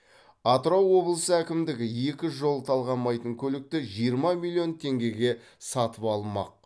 атырау облысы әкімдігі екі жол талғамайтын көлікті жиырма миллион теңгеге сатып алмақ